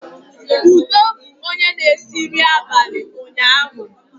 Udo bụ onye na-esi nri abalị ụnyaahụ